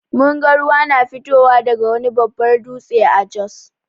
Mun ga ruwa na fitowa daga wani babbar dutse a Jos.